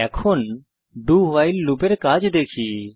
এখন doভাইল লুপের কাজ দেখি